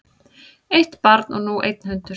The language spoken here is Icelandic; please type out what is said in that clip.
Eitt barn og nú einn hundur